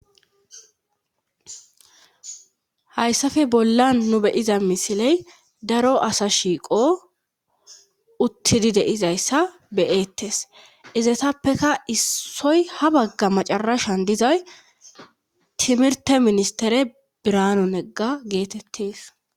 hayssafe bollan nu beyiza misiley daro asa shiiqo uttidi deizayssa beyettes izatappeka issoy ha bagga macarashan dizay timirte ministere biranonegga geetettees